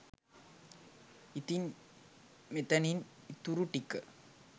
ඉතින් මෙතනින් ඉතුරුටික